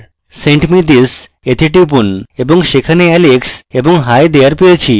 send me this we টিপুন এবং আমরা সেখানে alex এবং hi there! পেয়েছি